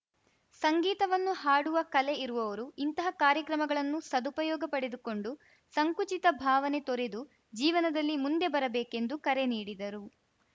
ಸಂಗೀತವನ್ನು ಹಾಡುವ ಕಲೆ ಇರುವವರು ಇಂತಹ ಕಾರ್ಯಕ್ರಮಗಳನ್ನು ಸದುಪಯೋಗ ಪಡೆದುಕೊಂಡು ಸಂಕುಚಿತ ಭಾವನೆ ತೊರೆದು ಜೀವನದಲ್ಲಿ ಮುಂದೆ ಬರಬೇಕೆಂದು ಕರೆ ನೀಡಿದರು